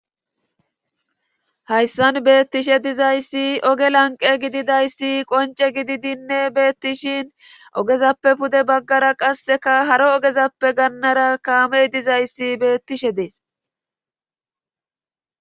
hayssan beettishe dizayssi oge lanqe gididayssi qonce gididinne beettishin ogezappe pude baggara qasseka haro ogezappe gannara kaamey dizayssi beettishe dees